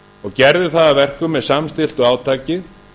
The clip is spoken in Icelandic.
og gerði það að verkum með samstilltu átaki